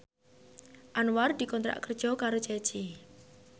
Anwar dikontrak kerja karo Ceci